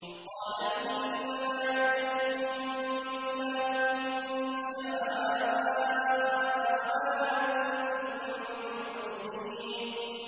قَالَ إِنَّمَا يَأْتِيكُم بِهِ اللَّهُ إِن شَاءَ وَمَا أَنتُم بِمُعْجِزِينَ